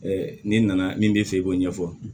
n'i nana min b'i fɛ i b'o ɲɛfɔ